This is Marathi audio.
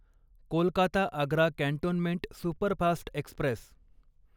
Kolkata Agra cantonment superfast Express